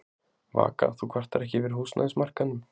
Vaka: Þú kvartar ekki yfir húsnæðismarkaðnum?